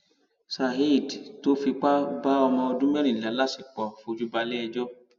saheed tó fipá bá ọmọọdún mẹrìnlá láṣepọ fojú baleẹjọ